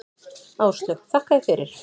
Áslaug: Þakka þér fyrir.